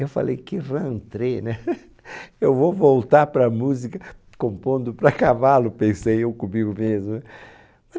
Eu falei que, né? eu vou voltar para a música compondo para cavalo, pensei eu comigo mesmo, né?